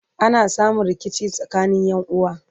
ana samun rikici tsakanin Ƴan uwa